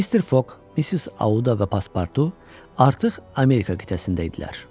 Mister Foq, Missis Auda və Paspartu artıq Amerika qitəsində idilər.